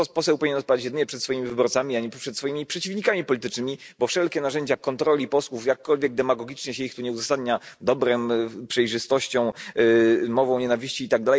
Poseł powinien odpowiadać jedynie przed swoimi wyborcami, a nie przed swoimi przeciwnikami politycznymi, bo wszelkie narzędzia kontroli posłów, jakkolwiek demagogicznie się ich tu nie uzasadnia dobrem, przejrzystością, mową nienawiści itd.,